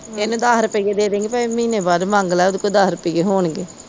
ਇਹਨੂੰ ਦਸ ਰੁਪਈਏ ਦੇਦੇਗੀ ਭਾਵੇ ਮਹੀਨੇ ਬਾਅਦ ਮੰਗਲਾ ਓਦੇ ਕੋ ਦਸ ਰੁਪਈਏ ਹੋਣਗੇ।